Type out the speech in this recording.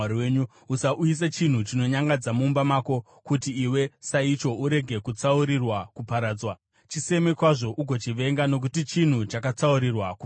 Usauyisa chinhu chinonyangadza mumba mako, kuti iwe, saicho, urege kutsaurirwa kuparadzwa. Chiseme kwazvo ugochivenga, nokuti chinhu chakatsaurirwa kuparadzwa.